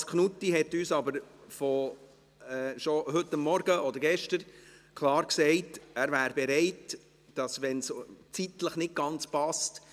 Thomas Knutti hat uns aber schon heute Morgen oder gestern klar gesagt, dass er bereit wäre, dass man es verschieben könnte, wenn es zeitlich nicht ganz passt.